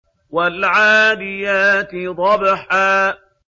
وَالْعَادِيَاتِ ضَبْحًا